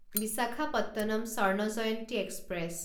Visakhapatnam Swarna Jayanti express